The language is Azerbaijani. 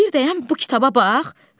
Bir dayan bu kitaba bax.